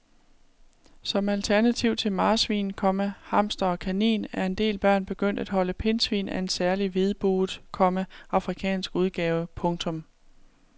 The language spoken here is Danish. Som alternativ til marsvin, komma hamster og kanin er en del børn begyndt at holde pindsvin af en særlig hvidbuget, komma afrikansk udgave. punktum